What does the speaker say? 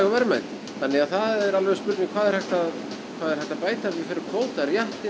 verðmæti þannig að það er alveg spurning hvað er hægt að bæta við fyrir kvóta